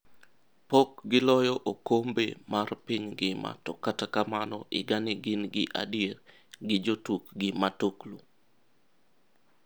Pok gi loyo okombe mar piny ngima to kata kamano higani gin gi adier gi jotukgi matuklu.